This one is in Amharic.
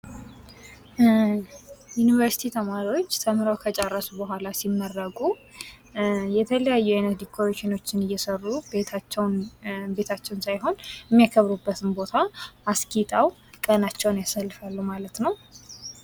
ዩኒቨርስቲ ተማሪዎች ተምረው ከጨረሱ ቡሀላ ሲመረቁ የተለያዩ አይነት ዲኮሬሽኖችን እየሰሩ የሚያከብሩበትን ቦታ አስጊጠው ቀናቸውን ያሳልፋሉ።